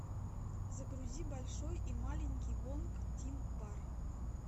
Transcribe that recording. загрузи большой и маленький вонг тин бар